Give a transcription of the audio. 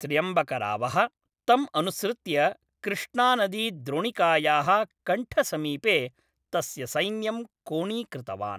त्र्यम्बकरावः तं अनुसृत्य कृष्णानदीद्रोणिकायाः कण्ठसमीपे तस्य सैन्यं कोणीकृतवान्।